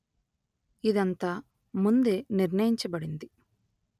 ఇదంతా ముందే నిర్ణయించబడింది